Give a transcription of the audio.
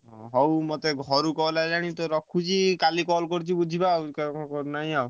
ହଉ ମତେ ଘରୁ call ଆଇଲାଣି ମୁଁ ରଖୁଛି କାଲି call କରୁଛି ବୁଝିବା ।